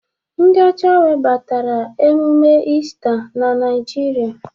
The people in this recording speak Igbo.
Ndị ọcha webatara emume Ista na Naịjirịa.